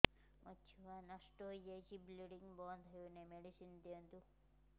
ମୋର ଛୁଆ ନଷ୍ଟ ହୋଇଯାଇଛି ବ୍ଲିଡ଼ିଙ୍ଗ ବନ୍ଦ ହଉନାହିଁ ମେଡିସିନ ଦିଅନ୍ତୁ